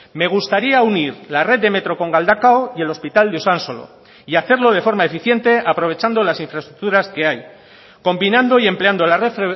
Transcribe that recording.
me gustaría unir la red de metro con galdakao y el hospital de usansolo y hacerlo de forma eficiente aprovechando las infraestructuras que hay combinando y empleando la red